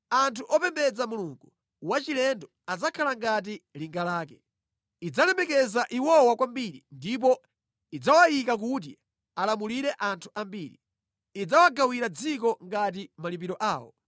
Anthu opembedza mulungu wachilendo adzakhala ngati linga lake. Idzalemekeza iwowa kwambiri, ndipo idzawayika kuti alamulire anthu ambiri. Idzawagawira dziko ngati malipiro awo.